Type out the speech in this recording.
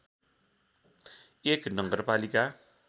१ नगरपालिका